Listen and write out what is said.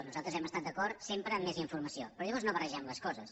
nosaltres hem d’estat d’acord sempre amb més informació però llavors no barregem les coses